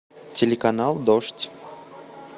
телеканал дождь